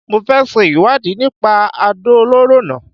Mo fẹ ṣe ìwádìí nípa àdó olóró náà